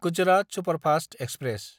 Gujarat superfast express